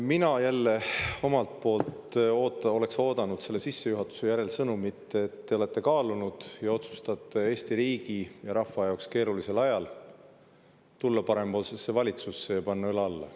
Mina jälle omalt poolt oleks oodanud selle sissejuhatuse järel sõnumit, et te olete kaalunud ja otsustanud Eesti riigi ja rahva jaoks keerulisel ajal tulla parempoolsesse valitsusse ja panna õla alla.